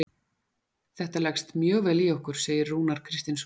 Þetta leggst mjög vel í okkur, segir Rúnar Kristinsson.